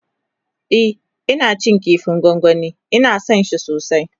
e Ina cin kifin gwangwani Ina San shi sosai